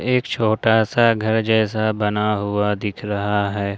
एक छोटा सा घर जैसा बना हुआ दिख रहा है।